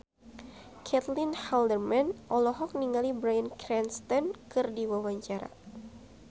Caitlin Halderman olohok ningali Bryan Cranston keur diwawancara